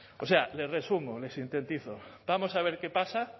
no o sea les resumo les sintetizo vamos a ver qué pasa